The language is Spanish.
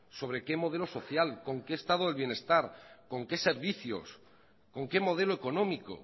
sobre qué modelo social con qué estado del bienestar con qué servicios con qué modelo económico